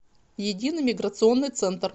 единый миграционный центр